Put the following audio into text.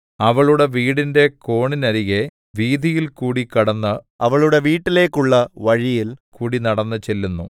അവളുടെ വീടിന്റെ കോണിനരികെ വീഥിയിൽകൂടി കടന്ന് അവളുടെ വീട്ടിലേക്കുള്ള വഴിയിൽ കൂടിനടന്നുചെല്ലുന്നു